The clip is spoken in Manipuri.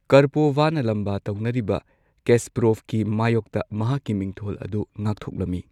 ꯀꯔꯄꯣꯚꯅ ꯂꯥꯝꯕꯥ ꯇꯧꯅꯔꯤꯕ, ꯀꯦꯁꯄꯔꯣꯚꯀꯤ ꯃꯥꯌꯣꯛꯇ ꯃꯍꯥꯛꯀꯤ ꯃꯤꯡꯊꯣꯜ ꯑꯗꯨ ꯉꯥꯛꯊꯣꯛꯂꯝꯃꯤ꯫